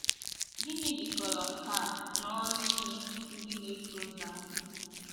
Gịnị jikọrọ nke a na ọrụ ime ndị na - eso ụzọ anyị?